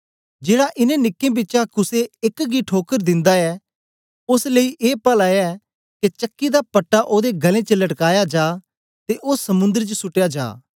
जेड़ा इनें नीक्कें बिचा कुसे एक गी ठोकर दिन्दा ऐ ओस लेई ए पला ऐ के चक्की दा पटा ओदे गल्लें च लटकाया जा ते ओ समुद्र च सुटया जा